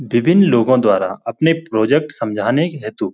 विभिन्न लोगों द्वारा अपने प्रोजेक्ट समझाने हेतु --